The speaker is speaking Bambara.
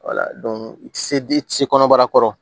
i tɛ se i tɛ se kɔnɔbara kɔrɔ